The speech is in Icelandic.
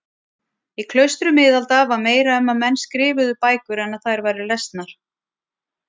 Í klaustrum miðalda var meira um að menn skrifuðu bækur en að þær væru lesnar.